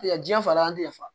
Tigɛ ji falen an tɛ nafa